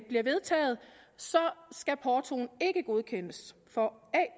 bliver vedtaget så skal portoen ikke godkendes for